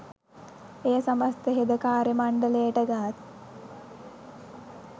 එය සමස්ත හෙද කාර්ය මණ්ඩලයට ගත්